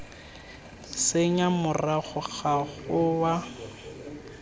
senya morago ga go wa